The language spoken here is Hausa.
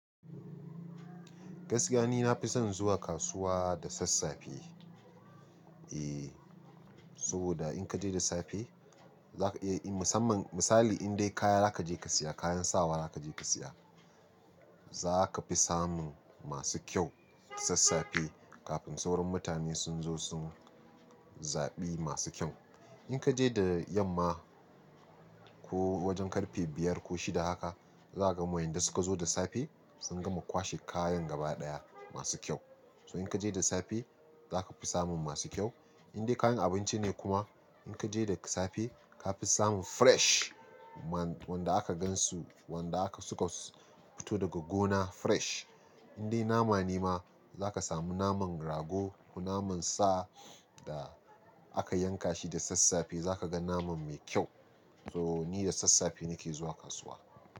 Gaskiya ni nafi son zuwa kasuwa da sassafe. Eh, saboda in kaje da safe zaka iya, musamman misali indai kaya zaka je ka siya kayan sawa zaka je ka siya za ka fi samun masu kyau da sassafe kafin sauran mutane sun zo sun zaɓi masu kyau. In kaje da yamma ko wajen karfe biyar ko shida haka zaga ma wanda suka zo da safe sun gama kwashe kayan gaba daya masu kyau. So in kaje da safe zaka fi samun masu kyau. Indai kayan abinci ne kuma in kaje da safe ka fi samun fresh wanda aka gansu wanda aka suka fito daga gona fresh. Indai nama ne ma zaka samu naman rago ko naman sa da aka yanka shi da sassafe zaka ga naman mai kyau. So ni da sassafe nake zuwa kasuwa.